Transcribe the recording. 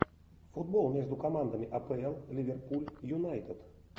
футбол между командами апл ливерпуль юнайтед